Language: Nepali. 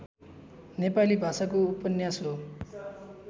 नेपाली भाषाको उपन्यास हो